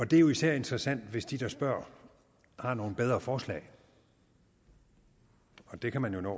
det er jo især interessant hvis de der spørger har nogle bedre forslag og det kan man jo nå